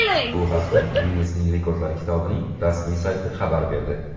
Bu haqda Ginnesning rekordlar kitobining rasmiy sayti xabar berdi.